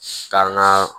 Ka n ga